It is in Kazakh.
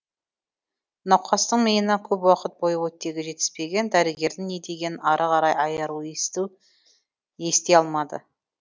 науқастың миына көп уақыт бойы оттегі жетіспеген дәрігердің не дегенін ары қарай айару ести алмады